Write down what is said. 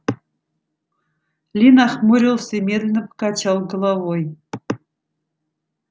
ли нахмурился и медленно покачал головой